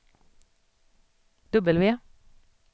W